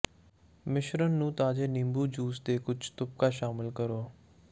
ਮਿਸ਼ਰਣ ਨੂੰ ਤਾਜ਼ੇ ਨਿੰਬੂ ਜੂਸ ਦੇ ਕੁਝ ਤੁਪਕਾ ਸ਼ਾਮਲ ਕਰੋ